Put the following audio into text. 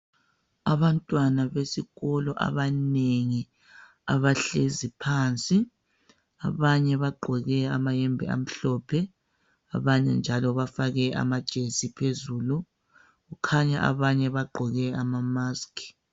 Abantwana besikolo abanengi, abahlezi phansi. Abanye bagqoke amahembe amhlophe. Abanye njalo bafake amajesi phezulu, kukhanya banye bagqoke amamaskhi.